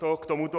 To k tomuto.